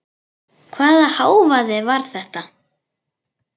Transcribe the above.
Hvaða hávaði var þetta?